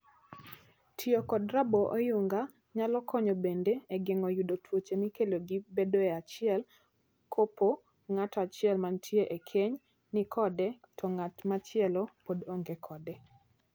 Tiyo kod raboo oyunga nyalo konyo bende e geng'o yudo tuoche mikelo gi bedoe achiel kopo ngato achiel mantie e keny ni kode to ng'at machielo pod onge kode.